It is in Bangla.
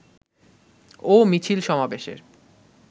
ও মিছিল সমাবেশের